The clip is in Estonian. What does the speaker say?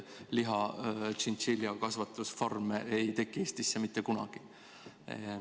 Lihatšintšilja kasvatamise farme ei teki Eestisse mitte kunagi.